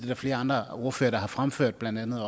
der flere andre ordførere der har fremført blandt andet